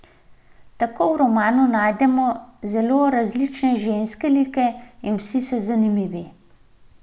Tako v romanu najdemo zelo različne ženske like in vsi so zanimivi.